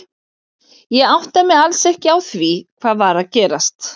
Ég áttaði mig alls ekki á því hvað var að gerast.